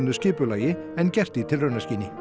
skipulagi en gert í tilraunaskyni